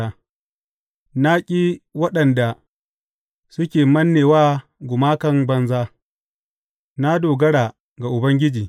Na ƙi waɗanda suke manne wa gumakan banza; na dogara ga Ubangiji.